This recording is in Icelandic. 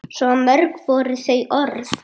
Svo mörg voru þau orð.